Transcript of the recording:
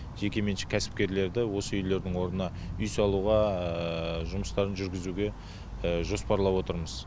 жеке меншік кәсіпкерлерді осы үйлердің орнына үй салуға жұмыстарын жүргізуге жоспарлап отырмыз